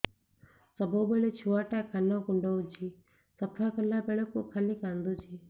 ସବୁବେଳେ ଛୁଆ ଟା କାନ କୁଣ୍ଡଉଚି ସଫା କଲା ବେଳକୁ ଖାଲି କାନ୍ଦୁଚି